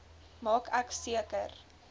maak ek seker